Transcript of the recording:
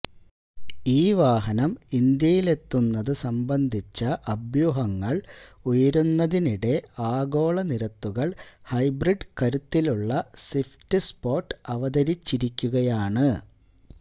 ഈ വാഹനം ഇന്ത്യയിലെത്തുന്നത് സംബന്ധിച്ച അഭ്യൂഹങ്ങള് ഉയരുന്നതിനിടെ ആഗോള നിരത്തുകള് ഹൈബ്രിഡ് കരുത്തിലുള്ള സ്വിഫ്റ്റ് സ്പോട്ട് അവതരിച്ചിരിക്കുകയാണ്